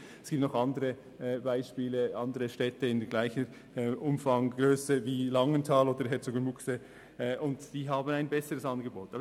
Es gibt noch Beispiele von anderen Städten gleicher Grösse wie Langenthal oder Herzogenbuchsee, die ein besseres Angebot als Langenthal haben.